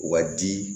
U ka di